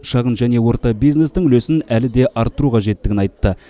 шағын және орта бизнестің үлесін әлі де арттыру қажеттігін айтты